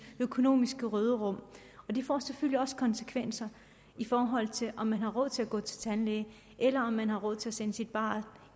økonomiske råderum og det får selvfølgelig også konsekvenser i forhold til om man har råd til at gå til tandlæge eller om man har råd til at sende sit barn